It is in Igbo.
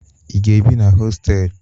Ị ga-ebi na hostelụ?